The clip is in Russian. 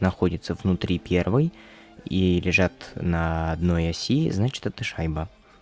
находится внутри первой и лежат на одной оси значит эта шайба